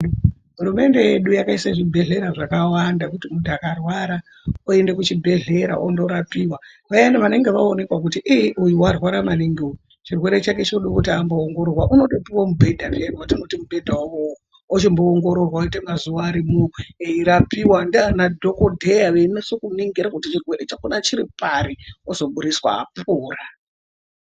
Hurumende yedu yakaisa zvibhedhlera zvakawanda kuti kana muntu akarwara oende kuchibhedhlera ondorapiwa koenda vanenge vaonekwa kuti iii uyu arwara maningi chirwere chake chinoda amboongororwa unotopiwa mubhedha wakewo achimboongororwa ngemazuva arimo eirapiwa ndeanadhokodheya echinyatsoningira kuti chirwere chakona chiri pari ozoburitswa apora.